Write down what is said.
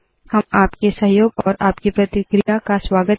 हम आपके सहयोग तथा आपकी प्रतिक्रिया का स्वागत करते है